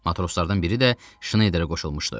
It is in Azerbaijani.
Matroslardan biri də Şneyderə qoşulmuşdu.